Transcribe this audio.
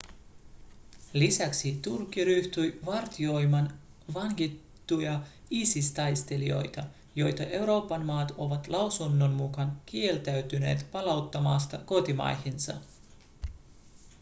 lisäksi turkki ryhtyi vartioimaan vangittuja isis-taistelijoita joita euroopan maat ovat lausunnon mukaan kieltäytyneet palauttamasta kotimaihinsa